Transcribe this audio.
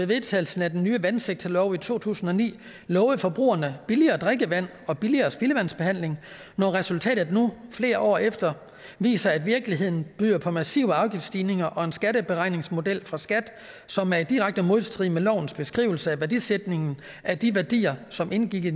vedtagelsen af den nye vandsektorlov i to tusind og ni lovede forbrugere billigere drikkevand og billigere spildevandsbehandling når resultatet nu flere år efter viser at virkeligheden byder på massive afgiftsstigninger og en skatteberegningsmodel fra skat som er i direkte modstrid med lovens beskrivelse af værdisætningen af de værdier som indgik i